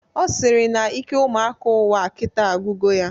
Ọ sịrị na ike ụmụaka ụwa kita agwugo ya